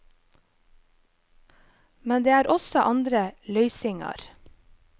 Men det er også andre løysingar.